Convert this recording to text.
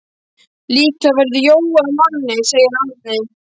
Líklega verður Jói að manni, segir Árni.